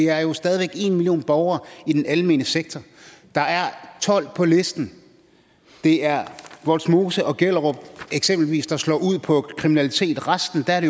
er jo stadig væk en million borgere i den almene sektor der er tolv på listen det er vollsmose og gellerup der eksempelvis slår ud på kriminalitet resten er